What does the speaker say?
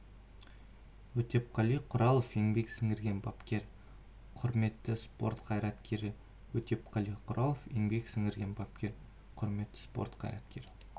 өтепқали құралов еңбек сіңірген бапкер құрметті спорт қайраткері өтепқали құралов еңбек сіңірген бапкер құрметті спорт қайраткері